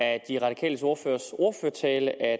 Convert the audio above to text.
af de radikales ordførers ordførertale at